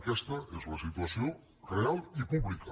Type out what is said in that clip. aquesta és la situació real i pública